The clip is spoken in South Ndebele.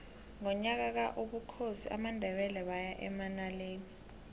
ngonyaka ka ubukhosi bamandebele baya emanaleli